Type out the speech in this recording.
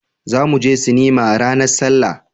za mu je sinima ranar sallah